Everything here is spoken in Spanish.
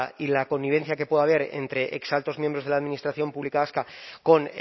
y la connivencia que pueda haber entre ex altos miembros de la administración pública vasca con